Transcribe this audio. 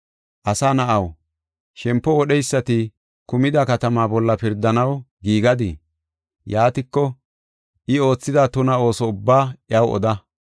“Asa na7aw, shempo wodheysati kumida katamaa bolla pirdanaw giigadiii? Yaatiko, I oothida tuna ooso ubbaa iyaw oda.